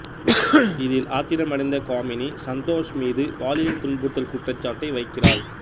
இதில் ஆத்திரமடைந்த காமினி சந்தோஷ் மீது பாலியல் துன்புறுத்தல் குற்றச்சாட்டை வைக்கிறாள்